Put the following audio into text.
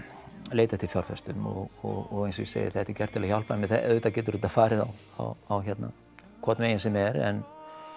leita eftir fjárfestum og eins og ég segi þetta er gert til að hjálpa auðvitað getur þetta farið á á hérna hvorn veginn sem er en